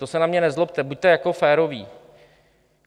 To se na mě nezlobte, buďte jako féroví.